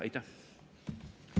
Aitäh!